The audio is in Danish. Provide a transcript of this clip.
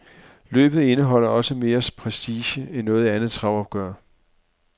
Løbet indeholder også mere prestige end noget andet travopgør.